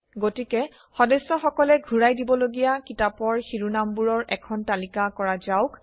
গতিকে সদস্যসকলে ঘূৰাই দিবলগীয়া কিতাপৰ শিৰোনামবোৰৰ এখন তালিকা কৰা যাওক